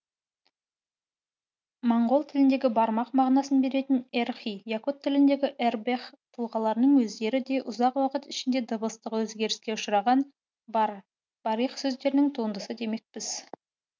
моңғол тіліндегі бармақ мағынасын беретін эрхий якут тіліндегі эрбэх тұлғаларының өздері де ұзақ уақыт ішінде дыбыстық өзгеріске ұшыраған барь барих сөздерінің туындысы демекпіз